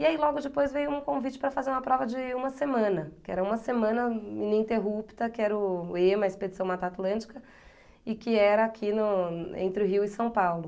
E aí logo depois veio um convite para fazer uma prova de uma semana, que era uma semana ininterrupta, que era o o Ema, Expedição Mata Atlântica, e que era aqui no entre o Rio e São Paulo.